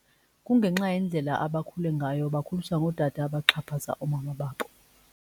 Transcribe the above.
Kungenxa yendlela abakhule ngayo, bakhuliswa ngootata abaxhaphaza oomama babo.